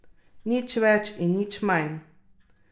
Nič več in nič manj.